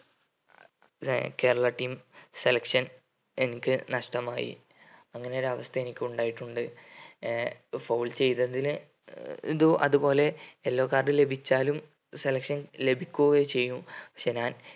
Kerala team selection എനിക്ക് നഷ്‌ടമായി അങ്ങനെ ഒരു അവസ്ഥ എനിക്കുണ്ടായിട്ടുണ്ട് ഏർ foul ചെയ്‌തതിന് ഏർ ഇത് അതുപോലെ yellow card ലഭിച്ചാലും selection ലഭിക്കുക ചെയ്യും പക്ഷെ ഞാൻ